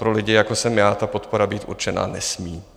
Pro lidi, jako jsem já, ta podpora být určená nesmí.